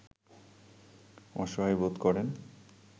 অসহায় বোধ করেন